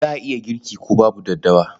Za a iya girki ko babu daddawa.